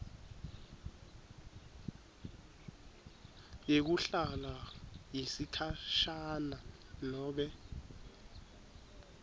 yekuhlala yesikhashana nobe